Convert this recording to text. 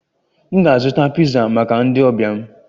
M ga-azụta piza maka ndi ọbia m